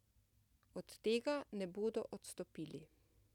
Od tega ne bodo odstopili.